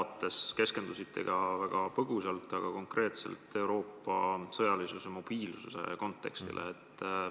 Te keskendusite küll väga põgusalt, aga konkreetselt Euroopa sõjalise mobiilsuse kontekstile.